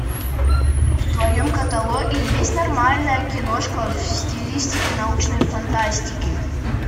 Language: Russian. в твоем каталоге есть нормальная киношка в стилистике научной фантастики